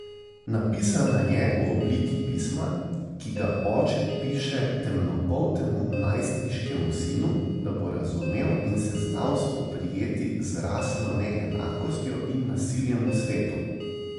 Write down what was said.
Napisana je v obliki pisma, ki ga oče piše temnopoltemu najstniškemu sinu, da bo razumel in se znal spoprijeti z rasno neenakostjo in nasiljem v svetu.